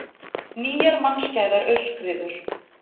Nýjar mannskæðar aurskriður